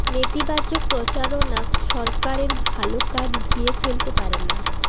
নেতিবাচক প্রচারণা সরকারের ভালো কাজ ধুয়ে ফেলতে পারে না